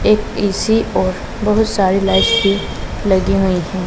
एक ए_सी और बहुत सारी लाइट्स भी लगी हुई हैं।